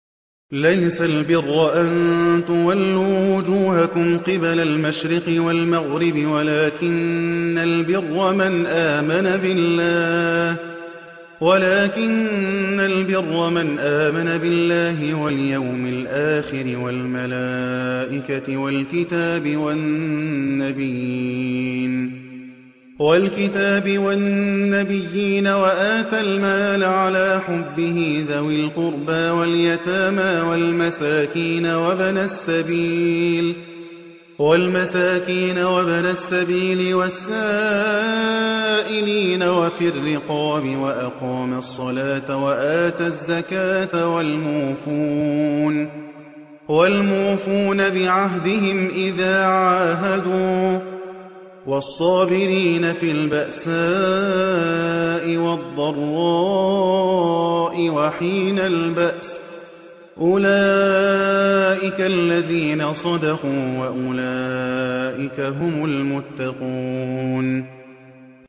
۞ لَّيْسَ الْبِرَّ أَن تُوَلُّوا وُجُوهَكُمْ قِبَلَ الْمَشْرِقِ وَالْمَغْرِبِ وَلَٰكِنَّ الْبِرَّ مَنْ آمَنَ بِاللَّهِ وَالْيَوْمِ الْآخِرِ وَالْمَلَائِكَةِ وَالْكِتَابِ وَالنَّبِيِّينَ وَآتَى الْمَالَ عَلَىٰ حُبِّهِ ذَوِي الْقُرْبَىٰ وَالْيَتَامَىٰ وَالْمَسَاكِينَ وَابْنَ السَّبِيلِ وَالسَّائِلِينَ وَفِي الرِّقَابِ وَأَقَامَ الصَّلَاةَ وَآتَى الزَّكَاةَ وَالْمُوفُونَ بِعَهْدِهِمْ إِذَا عَاهَدُوا ۖ وَالصَّابِرِينَ فِي الْبَأْسَاءِ وَالضَّرَّاءِ وَحِينَ الْبَأْسِ ۗ أُولَٰئِكَ الَّذِينَ صَدَقُوا ۖ وَأُولَٰئِكَ هُمُ الْمُتَّقُونَ